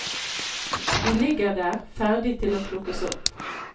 De ligger der, ferdig til å plukkes opp.